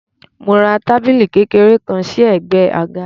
Mo ra tábìlì kékeré kan sí ẹ̀gbẹ́ àga.